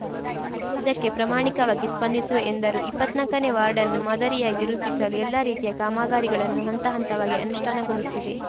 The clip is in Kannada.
ಇದಕ್ಕೆ ಪ್ರಮಾಣಿಕವಾಗಿ ಸ್ಪಂದಿಸುವೆ ಎಂದರು ಇಪ್ಪತ್ನಾಲ್ಕನೇ ವಾರ್ಡ್‌ನ್ನು ಮಾದರಿಯಾಗಿ ರೂಪಿಸಲು ಎಲ್ಲಾ ರೀತಿಯ ಕಾಮಗಾರಿಗಳನ್ನು ಹಂತ ಹಂತವಾಗಿ ಅನುಷ್ಠಾನಗೊಳಿಸಿವೆ